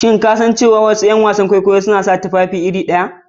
Shin ko ka san cewa wasu ’yan wasan kwaikwayo suna sa tufafi kusan iri ɗaya ne?